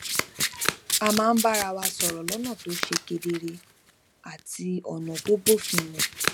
a máa ń bára wa sòrò lónà tó tó ṣe kedere àti lónà tó bófin mu